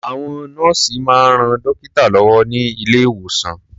Àwọn nọ́ọ̀sì máa ń ran dọ́kítà lọ́wọ́ ní ilé-ìwòsàn.